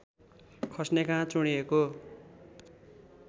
खस्ने कहाँ चुँडिएको